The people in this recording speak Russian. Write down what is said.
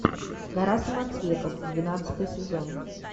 гора самоцветов двенадцатый сезон